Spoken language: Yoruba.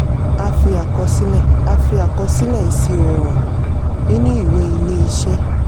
a fi àkọsílẹ̀ a fi àkọsílẹ̀ ìṣirò hàn nínú ìwé ilé-iṣẹ́.